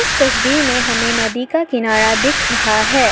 इस तस्वीर में हमें नदी का किनारा दिख रहा है।